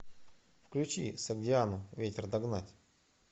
включи согдиану ветер догнать